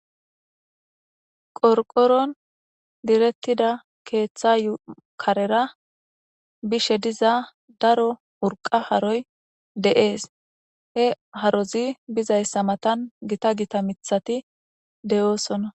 qorqoron direttida keeththa yukarera bishe diza daro urqa haroy de7ees he harozi bizayssa matan gita gita mithati deyoosonna